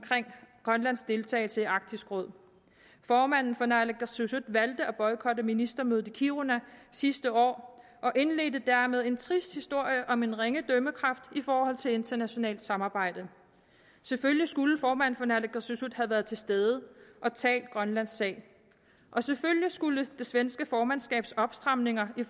grønlands deltagelse i arktisk råd formanden for naalakkersuisut valgte at boykotte ministermødet i kiruna sidste år og indledte dermed en trist historie om en ringe dømmekraft i forhold til internationalt samarbejde selvfølgelig skulle formanden for naalakkersuisut have været til stede og talt grønlands sag selvfølgelig skulle det svenske formandskabs opstramninger i